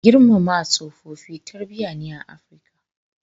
Girmama tsofaffi tarbiyya ne a Afrika.